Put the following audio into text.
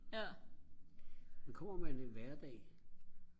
men kommer man en hverdag